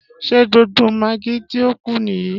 Ṣé gbogbo magí tí ó kù nìyí?